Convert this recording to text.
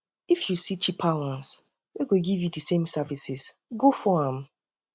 if yu see cheaper ones wey go still giv yu di same services go for am